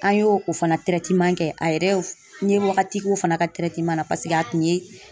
An ye o fana kɛ , a yɛrɛ ye n ye wagati k'o fana ka na paseke a tun ye